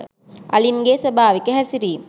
අලින්ගේ ස්වභාවික හැසිරීම්